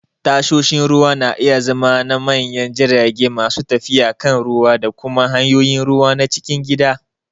Tashoshin ruwa na iya zama na manyan jirage masu tafiya kan ruwa da kuma hanyoyin ruwa na cikin gida.